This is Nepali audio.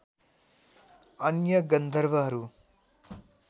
अन्य गन्धर्वहरू